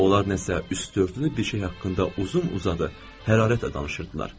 Onlar nəsə üstdördüdü bir şey haqqında uzun-uzadı hərarətlə danışırdılar.